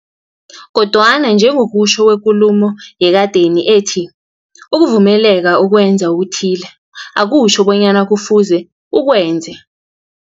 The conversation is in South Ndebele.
Kodwana njengokutjho kwekulumo yekadeni ethi, ukuvumeleka ukwenza okuthile, akutjho bonyana kufuze ukwenze.